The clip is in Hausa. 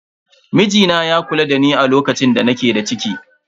Mijina ya kula dani a lokacin da nake da ciki.